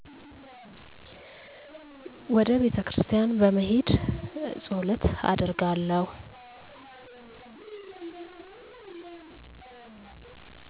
ወደ ቤተክርስቲያን በመሄድ ፀሎት አደርጋለሁ።